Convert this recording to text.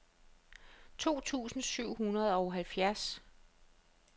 to tusind syv hundrede og halvfjerds